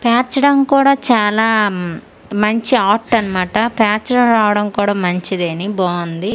పేర్చడం కూడా చాలా మంచి ఆర్ట్ అనమాట పేర్చడం రావడం కూడా మంచిదేని బావుంది.